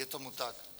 Je tomu tak.